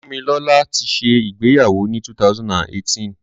Fúnmilọ́là ti ṣẹ ìgbéyàwó ni 2018.